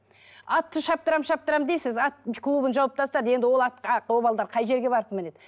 атты шаптырамын шаптырамын дейсіз ат клубын жауып тастады енді ол атқа ол балалар қай жерге барып мінеді